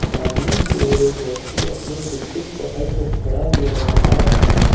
सामने की ओर एक व्यक्ति अपने टुकटुक पकड़ कर खड़ा हुआ नजर आ रहा है।